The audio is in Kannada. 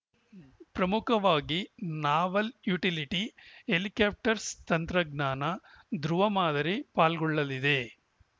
ಪ್ರಮುಖವಾಗಿ ನಾವಲ್‌ ಯುಟಿಲಿಟಿ ಹೆಲಿಕಾಪ್ಟರ್ಸ್ ತಂತ್ರಜ್ಞಾನ ದೃವ ಮಾದರಿ ಪಾಲ್ಗೊಳ್ಳಲಿವೆ